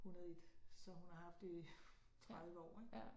101 så hun har haft det i 30 år ik